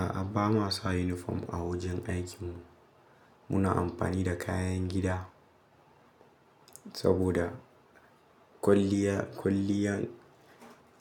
A'a, ba ma sa yunifom a wajen aikin mu. Muna amfani da kayan gida saboda kwalliya, kwalliyan